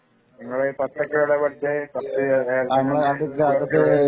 നിങ്ങൾ പത്ത് ഒക്കെ എവിടെ പഠിച്ചേ